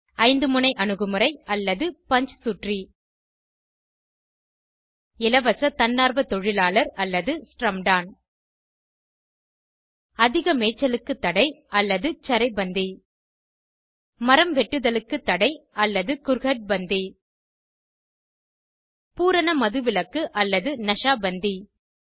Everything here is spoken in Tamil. ஐந்து முனை அணுகுமுறை அல்லது பஞ்ச்சுட்ரி 1இலவச தன்னார்வ தொழிலாளர் அல்லது ஸ்ரம்டான் 2அதிக மேய்ச்சலுக்கு தடை அல்லது சரை பந்தி 3மரம் வெட்டுதலுக்கு தடை அல்லது குர்ஹட் பந்தி 4பூரண மதுவிலக்கு அல்லது ந ஷா பந்தி 5